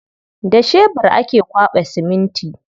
Da shebur ake kwaɓa siminti.